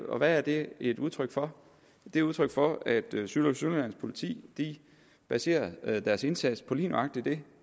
og hvad er det et udtryk for det er udtryk for at syd og sønderjyllands politi baserer deres indsats på lige nøjagtig det